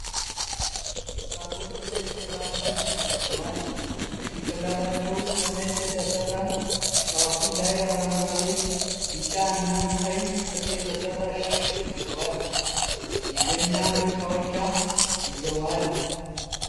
ወጣቶቹ ነጭ የባህል ልብስ ለብሰዋል። በጭንቅላታቸዉ ከነጭ የተሰራ ጫፉ ላይ አረንጓዴ፣ ቢጫ እና ቀይ ክር የተሰራ ሻሽ አድርገዋል። የገና መጫወቻ ይዘዋል።